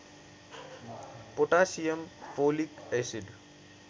potassium folic acid